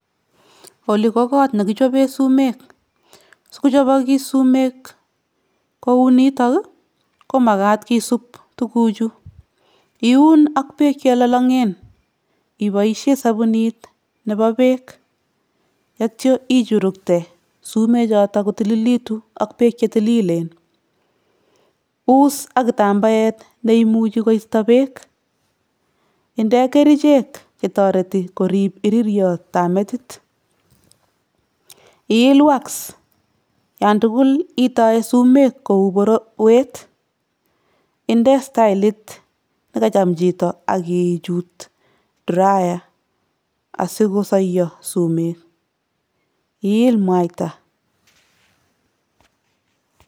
Qli ko got negichoben sumek. Sigochabakis sumek kou nitok ii komagat kisub tuguchu. Iun ak beek chelolongen iboisien sabunit nebo beek atya ichurukte sumek choton kotililegitun ak beek che tililen. Us ak kitambaet neimuchi koisto beek. Inde kerichek che imuchi korib iririotab metit. Iil ''[wax''] olantugul iitoe sumek kou borowet. Inde staelit negacham chito ak ichut ''[drier''] asikosoiyo sumek. Iil mwaita.